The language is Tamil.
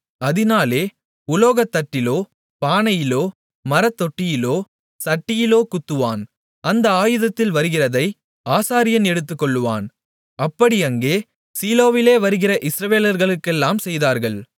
அதினாலே உலோகத்தட்டிலோ பானையிலோ மரத்தொட்டியிலோ சட்டியிலோ குத்துவான் அந்த ஆயுதத்தில் வருகிறதை ஆசாரியன் எடுத்துக்கொள்வான் அப்படி அங்கே சீலோவிலே வருகிற இஸ்ரவேலர்களுக்கு எல்லாம் செய்தார்கள்